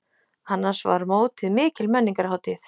Annars var mótið mikil menningarhátíð.